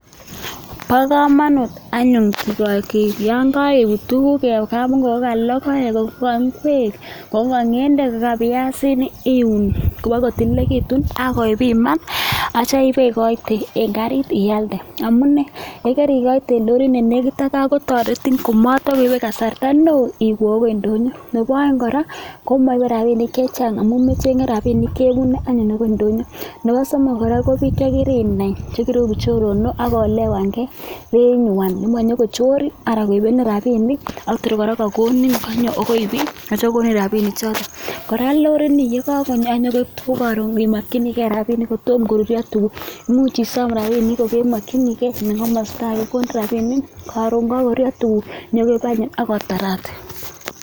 Bo komonut anyun yon karibut tuguk en kapungui, ngo ka: loek, ngwek, ng'edek, biasinik, iun kobagotililegitun ak ibiman ak kityo ibe igoite en karit ibe alde. Amune, ye koigoite en lorit ne negit ak gaa kotoretin komatokoibe kasarta neo agoi ndonyo. Nebo oeng kora komoibe rabinik chechang amun mecheng'e rabinik chebune anyun agoi ndonyo. Nebo somok kora ko biik che kirinai, che kiroigu choronok ak o-elewange beinywan komonyokochorin anan koibenin rabinik ak tor kora kanyo agoi bii ak kityo kogonin rabinik choto. Kora lorini ye kagonyo ak konyokoib tuguk, karon imokinige rabinik kotom koruryo tuguk imuch isom rabinik kogemokinige en komosta age kogin rabinik, karon kagoruryo konyo koib any ii ak otarate.